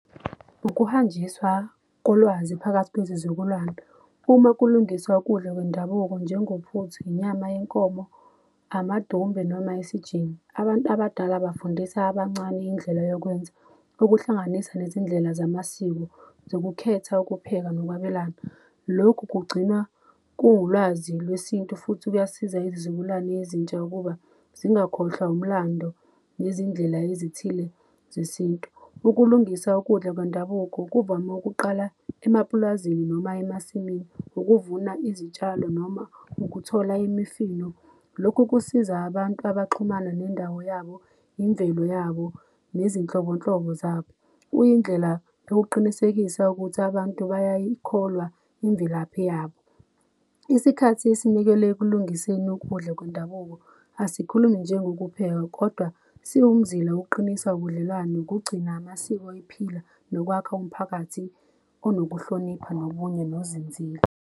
Ukuhanjiswa kolwazi phakathi kwezizukulwane, uma kulungiswa ukudla kwendabuko njengophuthu, inyama yenkomo, amadumbe noma isijingi. Abantu abadala bafundisa abancane indlela yokwenza ukuhlanganisa nezindlela zamasiko zokukhetha ukupheka nokwabelana. Lokhu kugcina kuwulwazi lwesintu futhi kuyasiza izizukulwane ezintsha ukuba zingakhohlwa umlando nezindlela ezithile zesintu. Ukulungisa ukudla kwendabuko kuvame ukuqala emapulazini noma emasimini ukuvuna izitshalo noma ukuthola imifino. Lokhu kusiza abantu abaxhumana nendawo yabo, imvelo yabo nezinhlobonhlobo zabo. Kuyindlela yokuqinisekisa ukuthi abantu bayayikholwa imvelaphi yabo. Isikhathi esinikelwe'kulungiseni ukudla kwendabuko asikhulumi nje ngokupheka kodwa siwumzila wokuqinisa ubudlelwane nokugcina amasiko ephila nokwakh'umphakathi onokuhlonipha nobunye nozinzila.